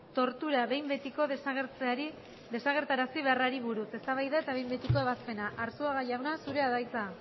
tortura behin betiko desagertarazi beharrari buruz eztabaida eta behin betiko ebazpena arzuaga jauna zurea da hitza